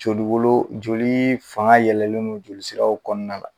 Jo wolo joli fanga yɛlɛlen don joli siraw kɔnɔna na.